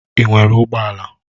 Ị nwere ụgbọ ala?